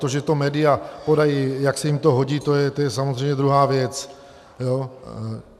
To, že to média podají, jak se jim to hodí, to je samozřejmě druhá věc.